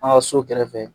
An ka so kɛrɛfɛ